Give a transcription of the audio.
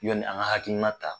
Yanni an ka hakilina ta